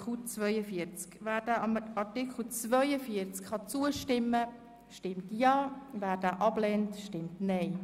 Wer Artikel 42 zustimmen kann, stimmt Ja, wer ihn ablehnt, stimmt Nein.